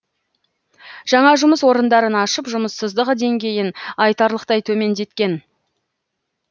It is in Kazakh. жаңа жұмыс орындарын ашып жұмыссыздық деңгейін айтарлықтай төмендеткен